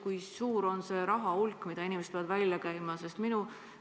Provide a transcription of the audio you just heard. Kui suur on see rahahulk, mis inimesed peavad välja käima?